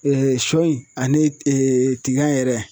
sɔ in ane tiga yɛrɛ